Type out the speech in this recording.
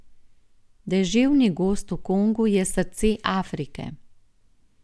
Deževni gozd v Kongu je srce Afrike.